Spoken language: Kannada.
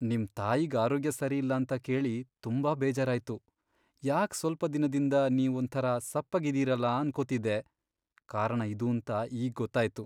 ನಿಮ್ ತಾಯಿಗ್ ಆರೋಗ್ಯ ಸರಿಯಿಲ್ಲ ಅಂತ ಕೇಳಿ ತುಂಬಾ ಬೇಜಾರಾಯ್ತು. ಯಾಕ್ ಸ್ವಲ್ಪ ದಿನದಿಂದ ನೀವ್ ಒಂಥರ ಸಪ್ಪಗಿದೀರಲ ಅನ್ಕೋತಿದ್ದೆ, ಕಾರಣ ಇದೂಂತ ಈಗ್ ಗೊತ್ತಾಯ್ತು.